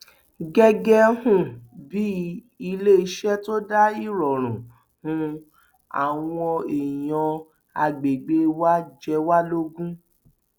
gẹgẹ um bíi iléeṣẹ tó dáa ìrọrùn um àwọn èèyàn àgbègbè wa jẹ wá lógún